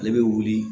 Ale bɛ wuli